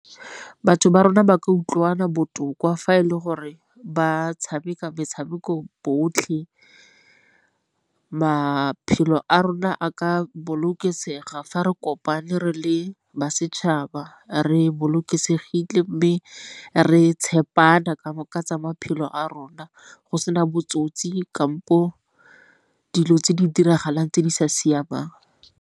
Batho ba rona ba ka utlwana botoka fa e le gore ba tshameka metshameko botlhe, maphelo a rona a ka bolokesega fa re kopane re le ba setšhaba re bolokesegile. Mme re tshepana ka tsa maphelo a rona go sena botsotsi kampo dilo tse di diragalang tse di sa siamang.